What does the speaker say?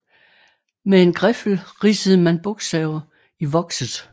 Med en griffel ridsede man bogstaver i vokset